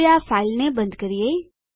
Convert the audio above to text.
હવે આ ફાઈલને બંધ કરીએ